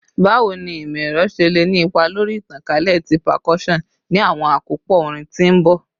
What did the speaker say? Bawo ni imọ-ẹrọ ṣe le ni ipa lori itankalẹ ti percussion ni awọn akopọ orin ti n bọ?